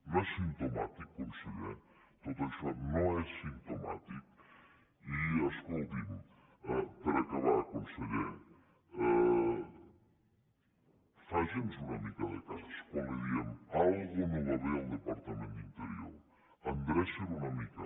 no és simptomàtic conseller tot això no és simptomàtic i escolti’m per acabar conseller faci’ns una mica de cas quan li diem alguna cosa no va bé al departament d’interior endreci’l una mica